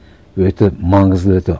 өте маңызды өте